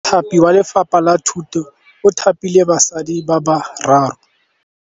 Mothapi wa Lefapha la Thutô o thapile basadi ba ba raro.